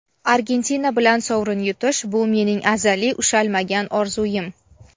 Argentina bilan sovrin yutish – bu mening azaliy ushalmagan orzuim.